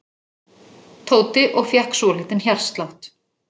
Tóti og fékk svolítinn hjartslátt.